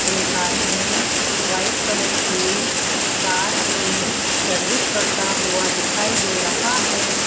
एक आदमी white colour की कार की सर्विस करता हुआ दिखाई दे रहा है।